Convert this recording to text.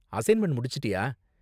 Assignment முடிச்சிட்டியா?